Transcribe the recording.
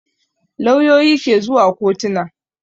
Lauyoyi ke zuwa kotona